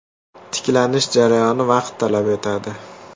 Tiklanish jarayoni vaqt talab etadi.